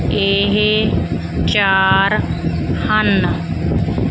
ਏਹ ਚਾਰ ਹਨ।